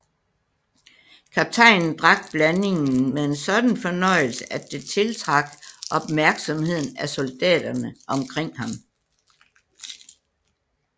Kaptajnen drak blandingen med en sådan fornøjelse at det tiltrak opmærksomheden af soldaterne omkring ham